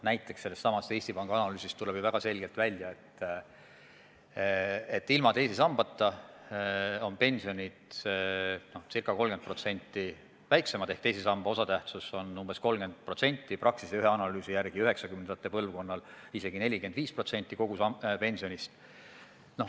Näiteks sellestsamast Eesti Panga analüüsist tuleb ju väga selgelt välja, et ilma teise sambata on pensionid ca 30% väiksemad ehk teise samba osatähtsus on umbes 30%, Praxise ühe analüüsi järgi 1990-ndate põlvkonnal isegi 45% kogu pensionist.